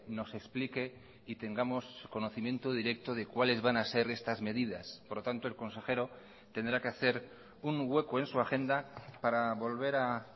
nos explique y tengamos conocimiento directo de cuáles van a ser estas medidas por lo tanto el consejero tendrá que hacer un hueco en su agenda para volver a